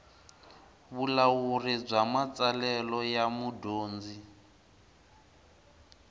vulawuri bya matsalelo ya mudyondzi